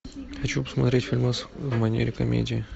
хочу посмотреть фильмас в манере комедии